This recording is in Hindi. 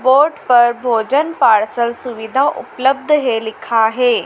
बोर्ड पर भोजन पार्सल सुविधा उपलब्ध है लिखा है।